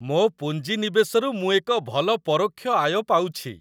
ମୋ ପୁଞ୍ଜିନିବେଶରୁ ମୁଁ ଏକ ଭଲ ପରୋକ୍ଷ ଆୟ ପାଉଛି।